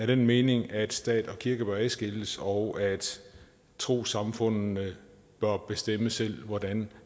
den mening at stat og kirke bør adskilles og at trossamfundene bør bestemme selv hvordan